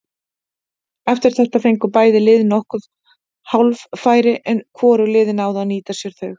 Eftir þetta fengu bæði lið nokkur hálffæri en hvorug liðin náðu að nýta sér þau.